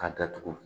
K'a datugu